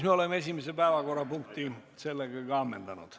Me oleme ka esimese päevakorrapunkti ammendanud.